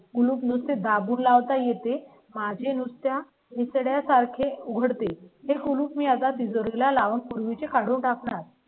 म्हणून नुसते दाबून लावता येते माझी नुसत्या. विचारल्या सारखे उघडतील हे कुलूप मी आता तिजोरी ला लावून पूर्वी चे काढून टाकणार.